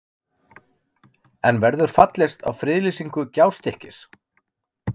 En verður fallist á friðlýsingu Gjástykkis?